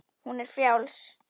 Hún er frjáls.